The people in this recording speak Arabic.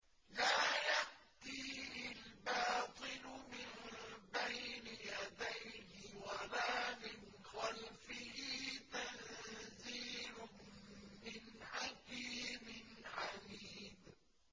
لَّا يَأْتِيهِ الْبَاطِلُ مِن بَيْنِ يَدَيْهِ وَلَا مِنْ خَلْفِهِ ۖ تَنزِيلٌ مِّنْ حَكِيمٍ حَمِيدٍ